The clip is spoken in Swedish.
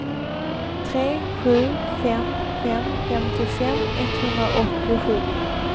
tre sju fem fem femtiofem etthundraåttiosju